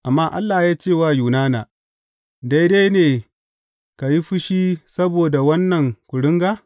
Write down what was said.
Amma Allah ya ce wa Yunana, Daidai ne ka yi fushi saboda wannan kuringa?